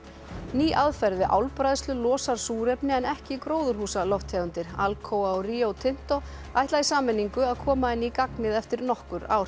ný aðferð við álbræðslu losar súrefni en ekki gróðurhúsalofttegundir Alcoa og Rio Tinto ætla í sameiningu koma henni í gagnið eftir nokkur ár